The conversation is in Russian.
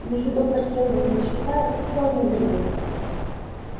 если доктор сэлдон так считает то они верны